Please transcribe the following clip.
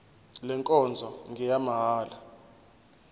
le nkonzo ngeyamahala